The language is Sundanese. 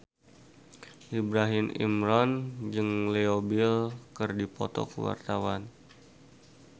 Ibrahim Imran jeung Leo Bill keur dipoto ku wartawan